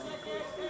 Xeyirə qarşı.